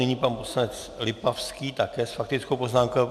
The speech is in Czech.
Nyní pan poslanec Lipavský také s faktickou poznámkou.